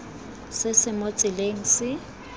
se se mo tseleng se